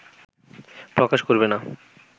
প্রকাশ করবে না